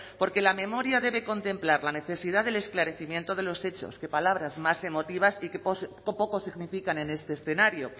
porque la memoria debe contemplar la necesidad del esclarecimiento de los hechos qué palabras más emotivas y qué poco significan en este escenario